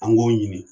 An k'o ɲini